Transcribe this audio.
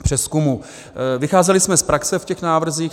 Vycházeli jsme z praxe v těch návrzích.